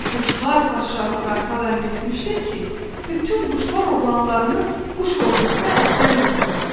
Quşlar padşahı qartal əmr etmişdir ki, bütün quşlar oğlanlarını quş ordusuna əsgər verməlidir.